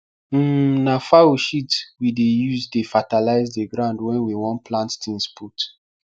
um na fowl shit we dey use dey fertalize the ground wen we wan plant things put